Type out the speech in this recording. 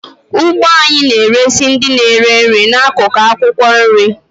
Ugbo anyị na-eresị ndị na-eri nri n'akụkụ akwụkwọ nri.